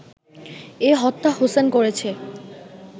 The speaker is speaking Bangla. এ হত্যা হোসেন করেছে